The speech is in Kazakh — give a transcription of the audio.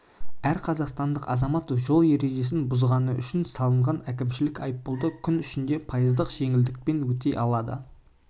әр қазақстандық азамат жол ережесін бұзғаны үшін салынған әкімшілік айыппұлды күн ішінде пайыздық жеңілдікпен өтей алады